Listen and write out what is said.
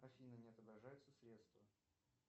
афина не отображаются средства